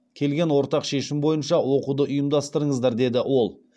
келген ортақ шешім бойынша оқуды ұйымдастырыныздар деді ол